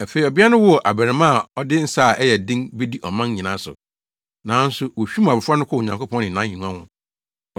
Afei ɔbea no woo abarimaa a ɔde nsa a ɛyɛ den bedi aman nyinaa so. Nanso wohwim abofra no kɔɔ Onyankopɔn ne nʼahengua ho.